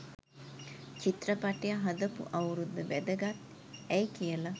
චිත්‍රපටිය හදපු අවුරුද්ද වැදගත් ඇයි කියල